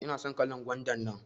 ina son kalan gwanda nan.